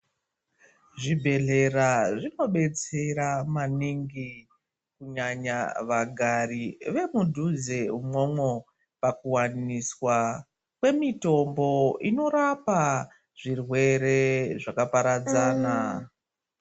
Zvibhedhlera zvinobetsera maningi kunyanya vagari vemudhuze imwomwo. Pakuvaniswa kwemitombo inorapa zvirwere zvakaparadzana.